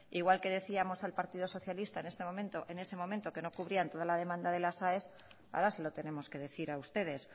igual que decíamos al partido socialista en ese momento que no cubrían todas las demandas de las aes ahora se lo tenemos que decir a ustedes